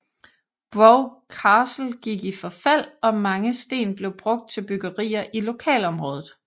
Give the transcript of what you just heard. Brough Castle gik i forfald og mange sten blev brugt til byggerier i lokalområdet